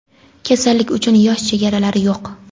Kasallik uchun yosh chegalari yo‘q.